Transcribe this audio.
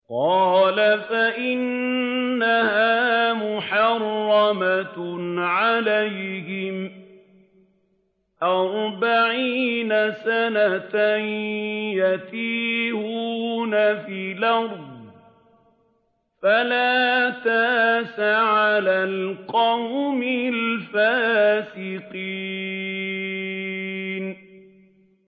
قَالَ فَإِنَّهَا مُحَرَّمَةٌ عَلَيْهِمْ ۛ أَرْبَعِينَ سَنَةً ۛ يَتِيهُونَ فِي الْأَرْضِ ۚ فَلَا تَأْسَ عَلَى الْقَوْمِ الْفَاسِقِينَ